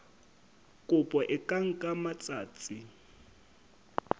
kopo e ka nka matsatsi